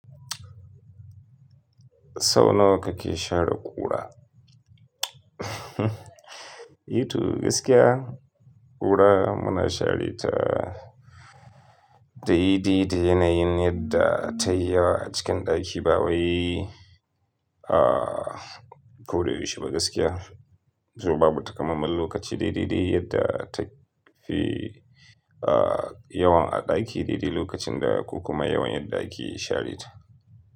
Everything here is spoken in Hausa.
Sau nawa kake share ƙura? Eh to gaskiya ƙura muna share ta daidai da yanayin yadda ta yi yawa a cikin ɗaki, ba wai, ah, ko da yaushe ba gaskiya. Saboda babu takamaiman lokaci daidai da yadda ta fi, ah, yawan a ɗaki daidai lokacin da, ko kuma yawan yadda ake share ta.